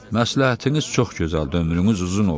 məsləhətiniz çox gözəldir, ömrünüz uzun olsun.